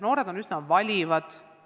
Noored on üsna valivad.